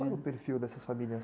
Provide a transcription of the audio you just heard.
Qual era o perfil dessas famílias?